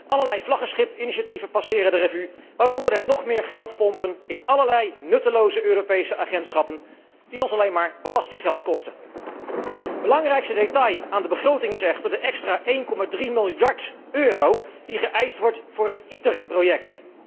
Allerlei vlaggenschipinitiatieven passeren de revue waaronder het nog meer geld pompen in allerlei nutteloze Europese agentschappen die ons alleen maar belastinggeld kosten. Belangrijkste detail aan de begroting is echter de extra 1,3 miljard euro die geëist wordt voor het ITER project.